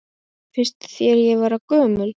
Finnst þér ég vera gömul?